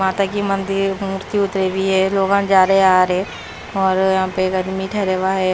माता की मंदिर मूर्ती उतरी हुई है लोग जा रहे आ रहे और यहां पे गर्मी ठहरा हुआ है।